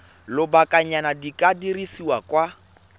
lobakanyana di ka dirwa kwa